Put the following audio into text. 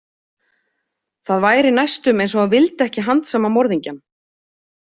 Það væri næstum eins og hann vildi ekki handsama morðingjann.